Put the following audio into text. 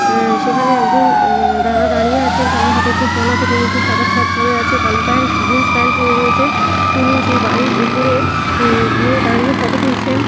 হ্যা সেখানে একজন উ-ম দাদা দাঁড়িয়ে আছেন হাতে একটি ফোন আছে তিনি একটি সাদা শার্ট পড়ে আছে কালো প্যান্ট জিন্স প্যান্ট পড়ে রয়েছে তিনি সেই বাড়ির উপরে উ-ম- গিয়ে দাঁড়িয়ে ফটো তুলছেন।